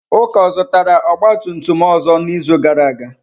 Uka zụtara ọgba tum tum ọzọ n'izu gara aga?